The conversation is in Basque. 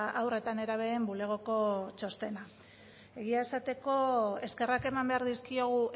haur eta nerabeen bulegoko txostena egia esateko eskerrak eman behar dizkiogu